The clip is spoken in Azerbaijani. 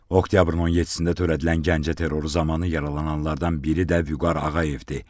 Oktyabrın 17-də törədilən Gəncə terroru zamanı yaralananlardan biri də Vüqar Ağayevdir.